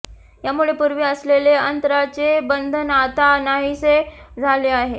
यामुळे पूर्वी असलेले अंतराचे बंधन आता नाहीसे झाले आहे